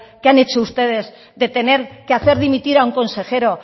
que han hecho ustedes de tener que hacer dimitir a un consejero